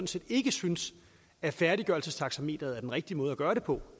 set ikke synes at færdiggørelsestaxameteret er den rigtige måde at gøre det på